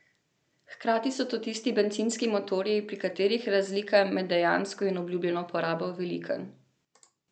Hkrati so to tisti bencinski motorji, pri katerih je razlika med dejansko in obljubljeno porabo velika.